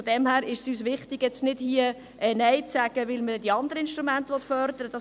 Daher ist es uns wichtig, hier nicht Nein zu sagen, weil man die anderen Instrumente fördern will.